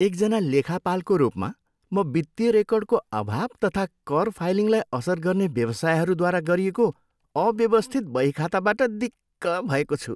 एकजना लेखापालको रूपमा, म वित्तीय रेकर्डको अभाव तथा कर फाइलिङलाई असर गर्ने व्यवसायहरूद्वारा गरिएको अव्यवस्थित बहीखाताबाट दिक्क भएको छु।